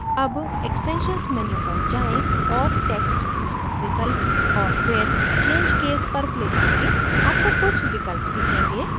अब extensions menu पर जाएँ और text named विकल्प और फिर change case पर click करें आपको कुछ विकल्प दिखेंगे